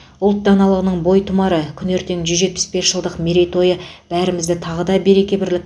ұлт даналығының бойтұмары күні ертең жүз жетпіс бес жылдық мерейтойы бәрімізді тағы да береке бірлікке